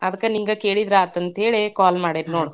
ಅದ್ಕ ನಿಂಗ ಕೇಳಿದ್ರಾಯ್ತ ಅಂತ್ಹೇಳಿ call ಮಾಡೇನಿ ನೋಡ.